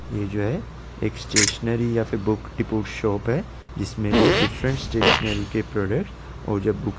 ये जो है एक स्टेशनरी या फिर बुक की शॉप है जिसमे जो है डिफरेंट स्टेशनरी के प्रोडक्ट और जब --